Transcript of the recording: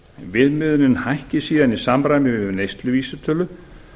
viðmiðunin hækki síðan í samræmi við neysluvísitölu